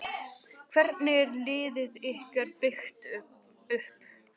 Hvernig er liðið ykkar byggt upp?